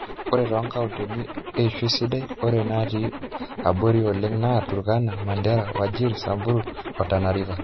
ore toonkauntini eishoi sidai ore naatii abori oleng naa, turkana, mandera, wajir, samburu o tana river